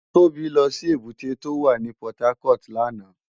Tobi lò si ébùté tó wá ni Pòtákòt làná